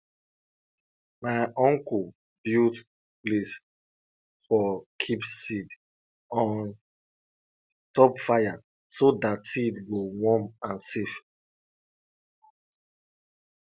my unko build place for keep seed on top fire so dat seed go warm and safe